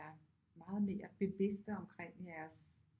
Meget mere bevidste omkring jeres